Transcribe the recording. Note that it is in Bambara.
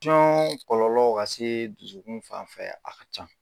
kɔlɔlɔ ka se dusukun fan fɛ, a ka ca.